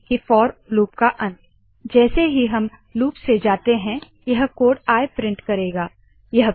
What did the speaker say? this code prints out I as we go through the loop